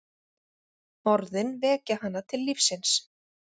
Orðin vekja hana til lífsins.